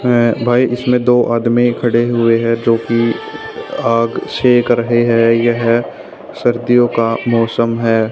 भाई इसमें दो आदमी खड़े हुए है जोकि आग सेक रहे हैं यह सर्दियों का मौसम है।